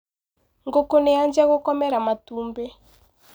Ngũkũ nĩ yajia gũkomera matumbĩ.